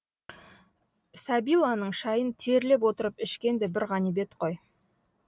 сәбиланың шайын терлеп отырып ішкен де бір ғанибет қой